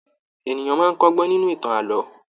Ènìyàn máa kọgbọn nínú ìtàn ààlọ́.